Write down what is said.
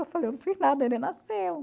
Eu falei, eu não fiz nada, ele nasceu.